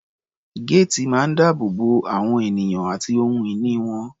Géètì máa ń dáàbò bo àwọn ènìyàn àti ohun ìní wọn.